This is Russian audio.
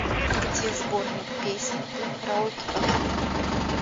где сборник песен для караоке в отеле